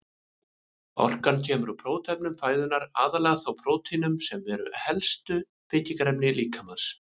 Orkan kemur úr orkuefnum fæðunnar, aðallega þó prótínum sem eru helstu byggingarefni líkamans.